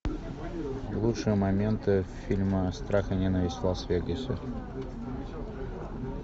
лучшие моменты фильма страх и ненависть в лас вегасе